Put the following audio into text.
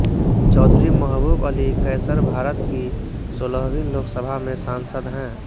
चौधरी महबूब अली कैसर भारत की सोलहवीं लोकसभा में सांसद हैं